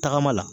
Tagama la